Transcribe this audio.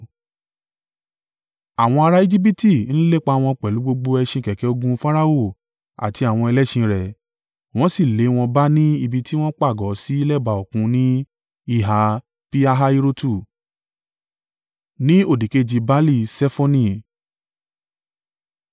Àwọn ará Ejibiti ń lépa wọn pẹ̀lú gbogbo ẹṣin kẹ̀kẹ́ ogun Farao àti àwọn ẹlẹ́ṣin rẹ̀, wọ́n sì lé wọn bá ni ibi tí wọ́n pa àgọ́ sí lẹ́bàá òkun ní ìhà Pi-Hahirotu, ni òdìkejì Baali-Ṣefoni.